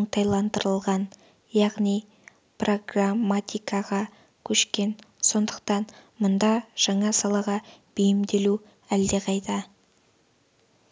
оңтайландырылған яғни прагматикаға көшкен сондықтан мұнда жаңа салаға бейімделу әлдеқайда